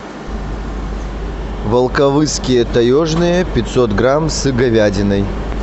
волковысские таежные пятьсот грамм с говядиной